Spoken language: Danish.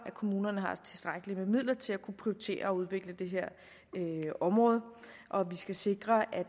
at kommunerne har tilstrækkelige midler til at kunne prioritere og udvikle det her område vi skal sikre at